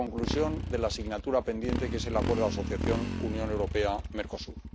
y la conclusión de la asignatura pendiente que es el Acuerdo de Asociación Unión Europea Mercosur.